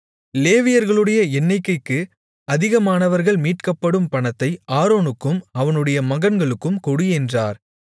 லேவியர்களுடைய எண்ணிக்கைக்கு அதிகமானவர்கள் மீட்கப்படும் பணத்தை ஆரோனுக்கும் அவனுடைய மகன்களுக்கும் கொடு என்றார்